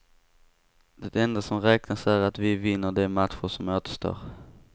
Det enda som räknas är att vi vinner de matcher som återstår.